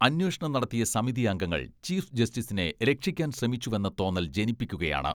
അന്വേഷണം നടത്തിയ സമിതി അംഗങ്ങൾ ചീഫ് ജസ്റ്റിസിനെ രക്ഷിക്കാൻ ശ്രമിച്ചുവെന്ന തോന്നൽ ജനിപ്പിക്കുകയാണ്.